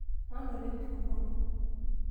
manoto enkirukoto